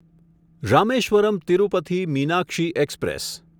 Rameswaram Tirupati Meenakshi express